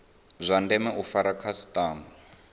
zwa ndeme u fara khasitama